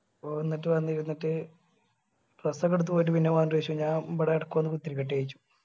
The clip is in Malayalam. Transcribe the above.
ഓന് എന്നിട്ട് വന്നു ഇരുന്നിട്ട് dress ഒക്കെ എടുത്ത് പോയിട്ട് പിന്നെ വന്നിട്ട് ചോയ്ച്ചു ഞാൻ ഇബിടെ ഇടക്ക് വന്നു കുത്തിയിരിക്കട്ടെ ചോയ്ച്ചു.